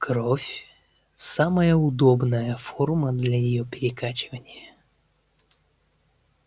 кровь самая удобная форма для её перекачивания